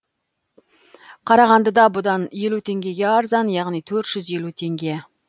қарағандыда бұдан елу теңгеге арзан яғни төрт жүз елу теңге